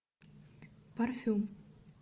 парфюм